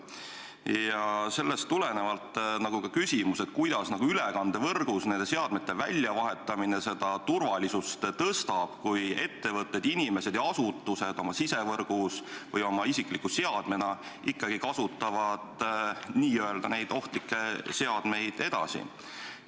Ja sellest tulenevalt ka küsimus: kuidas nende seadmete väljavahetamine ülekandevõrgus turvalisust suurendab, kui ettevõtted, inimesed ja asutused oma sisevõrgus või oma isikliku seadmena neid n-ö ohtlikke seadmeid edasi kasutavad?